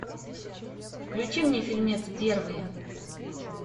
включи мне фильмец первые